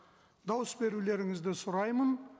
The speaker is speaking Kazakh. дауыс берулеріңізді сұраймын